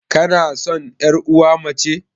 Kanasan yar uwa mace?